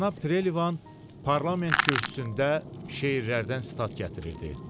Cənab Trelivan parlament kürsüsündə şeirlərdən sitat gətirirdi.